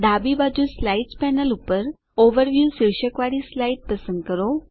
ડાબી બાજુ slides panel પર ઓવરવ્યૂ શીર્ષકવાળી સ્લાઇડ પસંદ કરો